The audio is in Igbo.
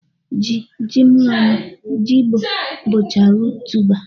Ji, ji nwannu, jigbọ, bụcha ruut tuba